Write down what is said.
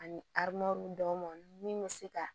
Ani dɔw ma min bɛ se ka